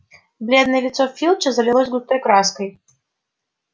бледное лицо филча залилось густой краской